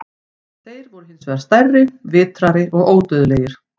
Þeir voru hins vegar stærri, vitrari og ódauðlegir.